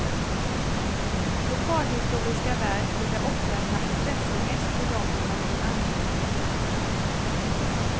Lokalhistoriska verk brukar oftast ha intresse mest för dem som har någon anknytning till orten.